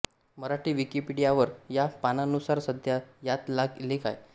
मराठी विकिपीडियावर या पानानुसार सध्या यात लेख आहेत